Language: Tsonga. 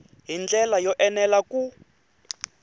hi ndlela yo enela ku